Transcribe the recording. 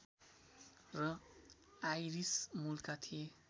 र आइरिस मूलका थिए